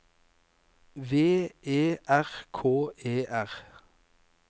V E R K E R